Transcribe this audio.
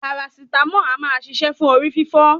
Parasítámọ̀ a máa ṣiṣẹ́ fún orí fífọ́.